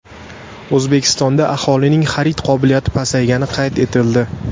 O‘zbekistonda aholining xarid qobiliyati pasaygani qayd etildi.